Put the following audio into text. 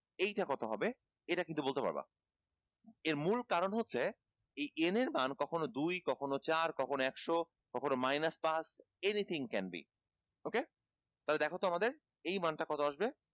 এইটা কত হবে এটা কিন্তু বলতে পারবা এর মূল কারন হচ্ছে এই n এর মান কখনো দুই কখনো চার কখনো একশো কখনো minus পাঁচ anything can be okay তাহলে দেখতো আমাদের এই মানটা কত আসবে